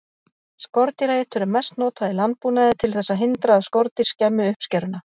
Skordýraeitur er mest notað í landbúnaði til þess að hindra að skordýr skemmi uppskeruna.